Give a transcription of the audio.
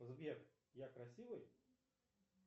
сбер я красивый